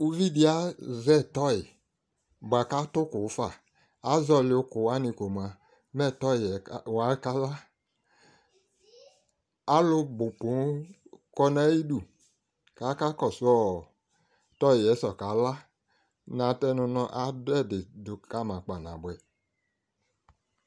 uvi di azɛ tɔy boa ko ato òkò fa azɔli òkò wani ko moa mɛ tɔy wa ka la alo bo ponŋ kɔ no ayidu ko aka kɔso tɔy yɛ ta ka la natɛno mo ado ɛdi ka ma kpa naboɛ